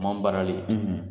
Mam baarali